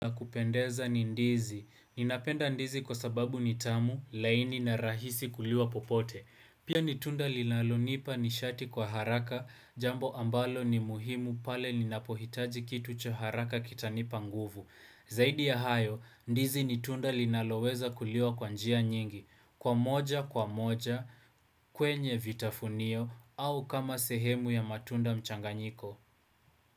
Kupendeza ni ndizi. Ninapenda ndizi kwa sababu nitamu, laini na rahisi kuliwa popote. Pia ni tunda linalonipa nishati kwa haraka jambo ambalo ni muhimu pale ninapohitaji kitu cha haraka kitanipa nguvu. Zaidi ya hayo, ndizi ni tunda linaloweza kuliwa kwa njia nyingi. Kwa moja, kwa moja, kwenye vitafunio, au kama sehemu ya matunda mchanganyiko.